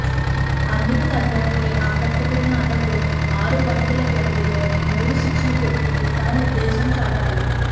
అందుకు తగ్గట్లే ఆకట్టుకున్న అతడు ఆరు బంతుల వ్యవధిలో మూడు సిక్స్లు కొట్టి తన ఉద్దేశం చాటాడు